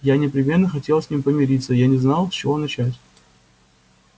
я непременно хотел с ним помириться я не знал с чего начать